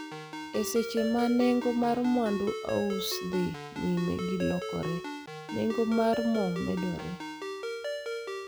E seche ma nengo mar mwandu ausa dhi nyime gi lokore, nengo mar mo medore.